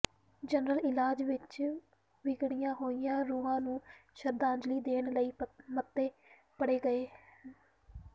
general ਇਜਲਾਸ ਵਿਚ ਵਿਛੜੀਆਂ ਹੋਈਆਂ ਰੂਹਾਂ ਨੂੰ ਸ਼ਰਧਾਂਜਲੀ ਦੇਣ ਲਈ ਮਤੇ ਪੜ੍ਹੇ ਗਏ